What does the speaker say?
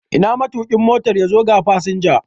Ina matuƙin Motan? yazo ga fasinja